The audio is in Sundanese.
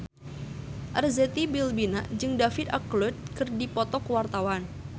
Arzetti Bilbina jeung David Archuletta keur dipoto ku wartawan